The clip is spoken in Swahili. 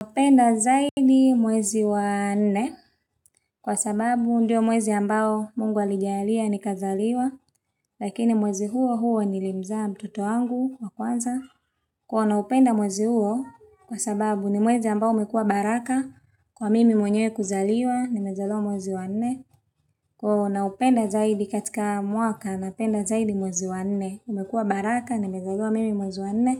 Naupenda zaidi mwezi wa 4 kwa sababu ndio mwezi ambao mungu alijalia ni kazaliwa lakini mwezi huo huo ni limza mtoto wangu wakwanza Kwa naupenda mwezi huo kwa sababu ni mwezi ambao umekua baraka kwa mimi mwenye kuzaliwa nimezaaliwa mwezi wa nne wa naupenda zaidi katika mwaka napenda zaidi mwezi wa 4 umekua baraka ni mezalua mimi mwezi wa 4